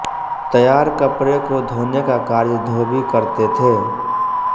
तैयार कपड़े को धोने का कार्य धोबी करते थे